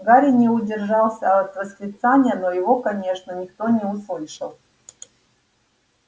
гарри не удержался от восклицания но его конечно никто не услышал